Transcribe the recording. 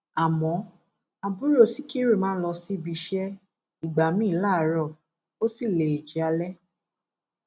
àmọ àbúrò sikiru máa ń lọ síbi iṣẹ ìgbà míín láàárọ ó sì lè jẹ alẹ